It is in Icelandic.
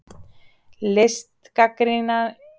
Listgagnrýni er dæmi um mat á ákveðnu sviði mannlegs samfélags.